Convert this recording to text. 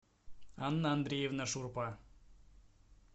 анна андреевна шурпа